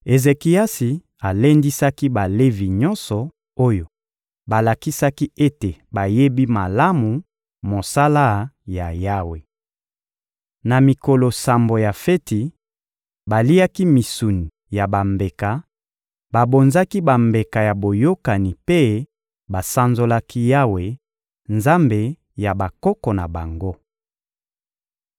Ezekiasi alendisaki Balevi nyonso oyo balakisaki ete bayebi malamu mosala ya Yawe. Na mikolo sambo ya feti, baliaki misuni ya bambeka, babonzaki bambeka ya boyokani mpe basanzolaki Yawe, Nzambe ya bakoko na bango.